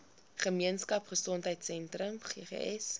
gemeenskap gesondheidsentrum ggs